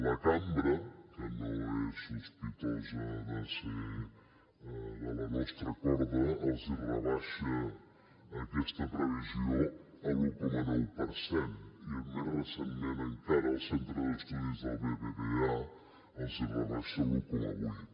la cambra que no és sospitosa de ser de la nostra corda els rebaixa aquesta previsió a l’un coma nou per cent i més recentment encara el centre d’estudis del bbva els hi rebaixa a l’un coma vuit